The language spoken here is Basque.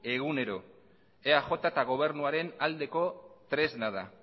egunero eaj eta gobernuaren aldeko tresna da